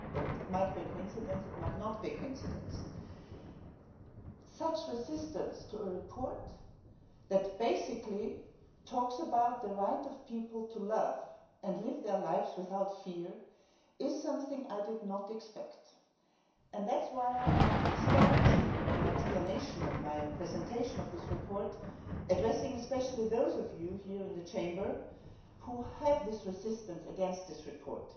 It might be a coincidence, or it might not be a coincidence. Such resistance to a report that basically talks about the right of people to love and to live their lives without fear is something I did not expect, and that is why I would like to start my explanation and presentation of this report by addressing especially those of you here in the Chamber who have this resistance against this report.